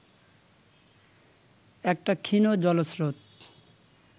একটা ক্ষীণ জলস্রোত